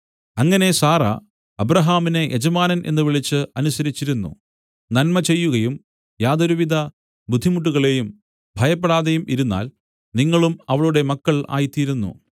അങ്ങനെ സാറാ അബ്രാഹാമിനെ യജമാനൻ എന്ന് വിളിച്ച് അനുസരിച്ചിരുന്നു നന്മ ചെയ്യുകയും യാതൊരുവിധ ബുദ്ധിമുട്ടുകളേയും ഭയപ്പെടാതെയും ഇരുന്നാൽ നിങ്ങളും അവളുടെ മക്കൾ ആയിത്തീരുന്നു